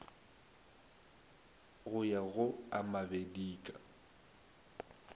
go ya go a mabedika